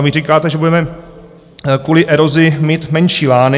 A vy říkáte, že budeme kvůli erozi mít menší lány.